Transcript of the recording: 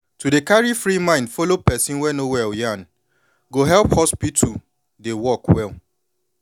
to dey carry free mind follow person wey no well yan go help hospital dey work well